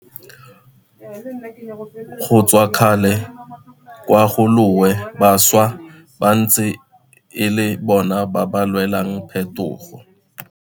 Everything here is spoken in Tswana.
Go tswa kgale kwa ga loe bašwa ba ntse e le bona ba ba lwelang phetogo.